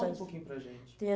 Conta um pouquinho para a gente.